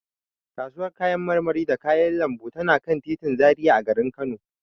Kasuwar kayan marmari da kayan lambu tana kan titin Zaria a garin Kano.